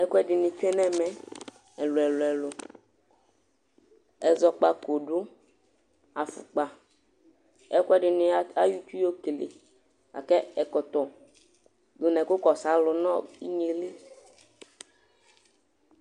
Ɛkuɛ ɖini tsue nu ɛmɛ ɛluɛlu ɛluɛlu Ɛzɔpkako ɖu, afukpa, ɛkuɛɖini, ay, ayɔ itsúh yɔ kele Laku ɛkɔtɔ, ɖu nu ɛkukɔsu ãlu nu igne yɛ li